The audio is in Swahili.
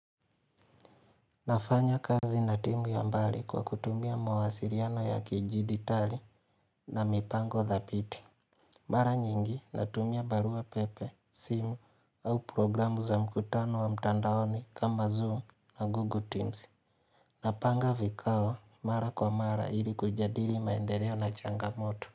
Nafanya kazi na timu ya mbali kwa kutumia mawasiliano ya kijiditali na mipango dhabiti. Mara nyingi natumia barua pepe, simu au programu za mkutano wa mtandaoni kama zoom na google teams Napanga vikao mara kwa mara ili kujadili maendeleo na changamoto.